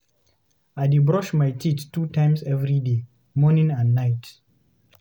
I dey brush my teeth two times every day, morning and night.